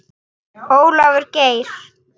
Ólafur Geir.